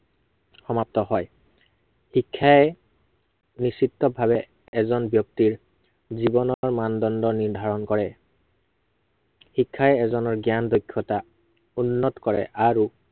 সমাপ্ত হয়। শিক্ষাই নিশ্চিতভাৱে, এজন ব্য়ক্তিৰ, জীৱনৰ মানদণ্ড নিৰ্ধাৰন কৰে। শিক্ষাই এজনৰ জ্ঞান, দক্ষতা, উন্নত কৰে আৰু